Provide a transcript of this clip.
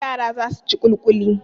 Yara za su ci ƙulƙuli.